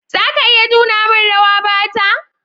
Za ka iya nuna min rawa Bata?